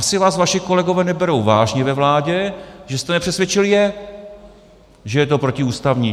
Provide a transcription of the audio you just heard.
Asi vás vaši kolegové neberou vážně ve vládě, že jste nepřesvědčil je, že je to protiústavní.